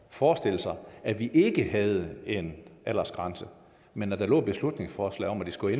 forestille sig at vi ikke havde en aldersgrænse men at der lå et beslutningsforslag om at det skulle